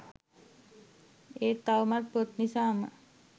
ඒත් තවමත් පොත් නිසාම